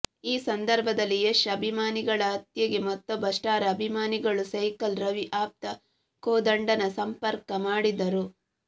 ಈ ಸಂದರ್ಭದಲ್ಲಿ ಯಶ್ ಅಭಿಮಾನಿಗಳ ಹತ್ಯೆಗೆ ಮತ್ತೊಬ್ಬ ಸ್ಟಾರ್ ಅಭಿಮಾನಿಗಳು ಸೈಕಲ್ ರವಿ ಆಪ್ತ ಕೋದಂಡನ ಸಂಪರ್ಕ ಮಾಡಿದ್ದರು